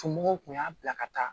Somɔgɔw kun y'a bila ka taa